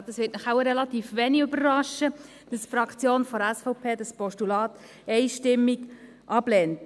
Es wird Sie wohl kaum überraschen, dass die Fraktion SVP das Postulat einstimmig ablehnt.